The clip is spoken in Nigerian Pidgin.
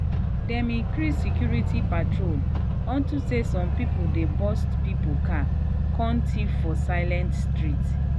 dem increase security patrol unto say some people dey burst people car kon thief for silent street.